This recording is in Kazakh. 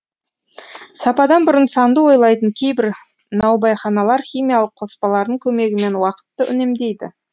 сападан бұрын санды ойлайтын кейбір наубайханалар химиялық қоспалардың көмегімен уақытты үнемдейді